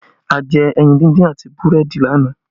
A jẹ ẹyin díndín àti búrẹ́dì lánàá